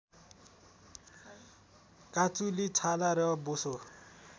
काँचुली छाला र बोसो